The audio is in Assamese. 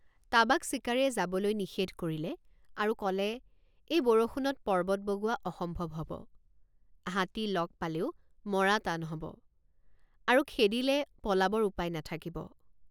তাবাক চিকাৰীয়ে যাবলৈ নিষেধ কৰিলে আৰু কলে এই বৰষুণত পৰ্বত বগোৱা অসম্ভৱ হব হাতী লগ পালেও মৰা টান হব আৰু খেদিলে পলাবৰ উপায় নাথাকিব।